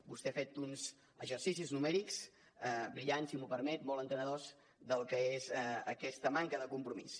vostè ha fet uns exercicis numèrics brillants si m’ho permet molt entenedors del que és aquesta manca de compromís